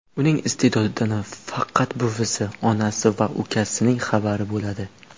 Uning iste’dodidan faqat buvisi, onasi va ukasining xabari bo‘ladi.